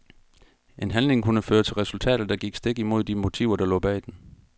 En handling kunne føre til resultater, der gik stik imod de motiver der lå bag den.